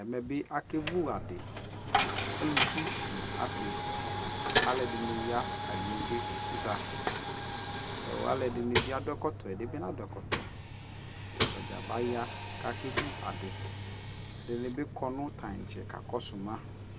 ɛmɛ bi akɛ vʋ adi, alʋvi nʋ asii, alʋɛdini ya ɛdini bi za, alʋɛdini bi adʋ ɛkɔtɔ, ɛdinibi nadʋ ɛkɔtɔ, atagya abaya kʋ akɛ vʋ adi, ɛdinibi kɔnʋ tankyɛ kakɔsʋ ma